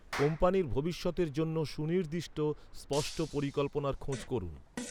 কোম্পানির ভবিষ্যতের জন্য সুনির্দিষ্ট, স্পষ্ট পরিকল্পনার খোঁজ করুন।